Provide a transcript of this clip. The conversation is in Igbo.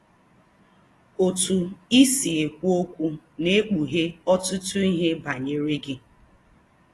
Otú i si ekwu okwu na-ekpughe ọtụtụ ihe banyere gị.